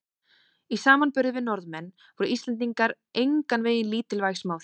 Í samanburði við Norðmenn voru Íslendingar engan veginn lítilvæg smáþjóð.